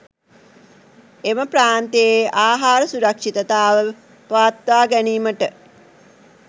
එම ප්‍රාන්තයේ ආහාර සුරක්ෂිතතාව පවත්වා ගැනීමට